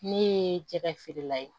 Ne ye jɛgɛ feerela ye